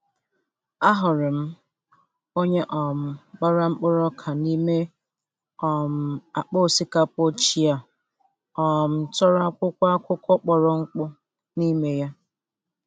Ahụrụ m onye um gbara mkpụrụ ọka n'ime um akpa osikapa ochie a um tọrọ akwụkwo akụkọ kpọrọ akpọ nime ya.